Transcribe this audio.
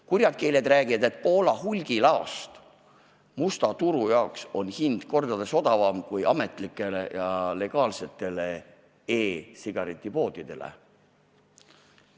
Kurjad keeled räägivad, et Poola hulgilaost musta turu jaoks ostes on selle vedeliku hind mitu korda odavam kui ametlikele, legaalsetele e-sigaretipoodidele ostes.